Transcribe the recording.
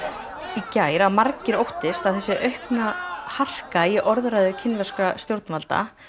í gær að margir óttist að þessi aukna harka í orðræðu kínverskra stjórnvalda